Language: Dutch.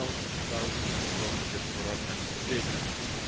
Dat alleen al zou een ongelooflijke vooruitgang betekenen.